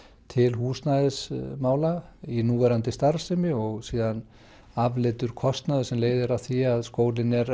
til húsnæðismála í núverandi starfsemi og síðan afleiddur kostnaður sem leiðir að því að skólinn er